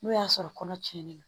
N'o y'a sɔrɔ kɔnɔ tiɲɛnen don